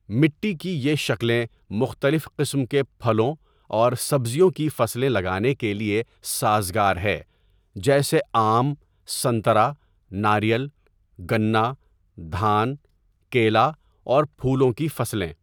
مٹی کی یہ شکلیں مختلف قسم کے پھلوں اور سبزیوں کی فصلیں لگانےکے لیے سازگار ہے جیسے آم، سنترا، ناریل، گنا، دھان، کیلا اور پھولوں کی فصلیں۔